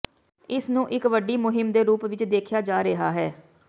ਇਸ ਨੂੰ ਇੱਕ ਵੱਡੀ ਮੁਹਿੰਮ ਦੇ ਰੂਪ ਵਿੱਚ ਦੇਖਿਆ ਜਾ ਰਿਹਾ ਹੈ